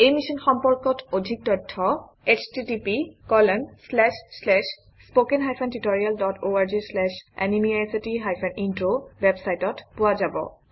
এই মিশ্যন সম্পৰ্কত অধিক তথ্য httpspoken tutorialorgNMEICT Intro ৱেবচাইটত পোৱা যাব